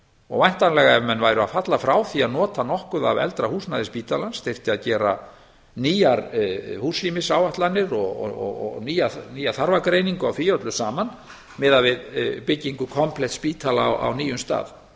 og væntanlega ef menn væru að falla frá því að nota nokkuð af eldra húsnæði spítalans þyrfti að gera nýjar húsrýmisáætlanir og nýja þarfagreiningu á því öllu saman miðað við byggingu komplett spítala á nýjum stað